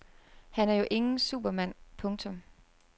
Han er jo ingen supermand. punktum